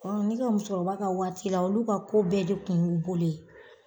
Ɔ o ne ka musokɔrɔba ka waati la olu ka ko bɛɛ de kun y'u bolo ye.